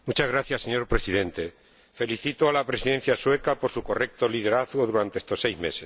Señor Presidente, felicito a la Presidencia sueca por su correcto liderazgo durante estos seis meses.